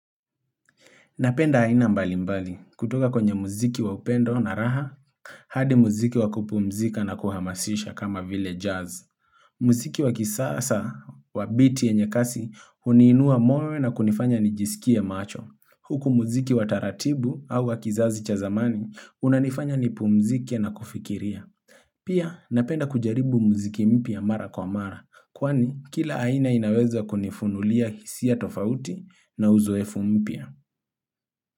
Napenda haina mbali mbali, kutoka kwenye muziki wa upendo na raha, hadi muziki wa kupumzika na kuhamasisha kama vile jazz. Muziki wa kisasa wa biti yenye kasi, uniinua moral na kunifanya ni jisikie macho. Huku muziki wa taratibu au wa kizazi cha zamani, unanifanya ni pumzike na kufikiria. Pia, napenda kujaribu muziki mpya mara kwa mara, kwani kila haina inaweza kunifunulia hisia tofauti na uzoefu mpya.